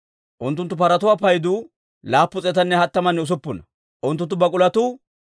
Unttunttu paratuwaa paydu 736; unttunttu bak'ulotuu 245;